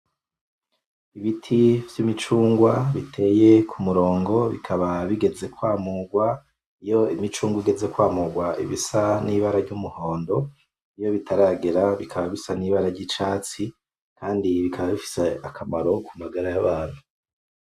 Ibiti vy'imicungwa biteye ku murongo, bikaba bigeze kwamurwa. Iyo imicungwa igeze kwamurwa iba isa n'ibara ry'umuhondo, iyo bitaragera bikaba bisa n'ibara ry'icatsi, kandi bikaba bifise akamaro ku magara y'abantu.